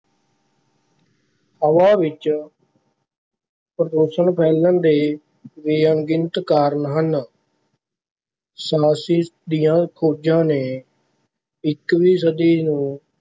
ਹਵਾ ਵਿੱਚ ਪ੍ਰਦੂਸ਼ਣ ਫੈਲਣ ਦੇ ਵੀ ਅਣਗਿਣਤ ਕਾਰਨ ਹਨ ਦੀਆਂਂ ਫ਼ੋਜ਼ਾਂ ਨੇ ਇੱਕਵੀਂ ਸਦੀ ਨੂੰ